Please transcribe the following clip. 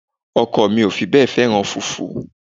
Ọkọ mi ò fi bẹ́ẹ̀ fẹ́ràn fùfú